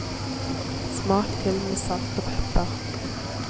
Smak til med salt og pepper.